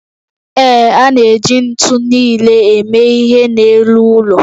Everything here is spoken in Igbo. Ee, a na-eji ntu nile eme ihe n'elu ụlọ